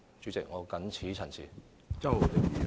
主席，我謹此陳辭。